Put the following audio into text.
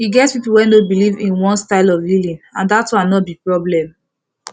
e get people wey no believe in one style of healing and that one no be problem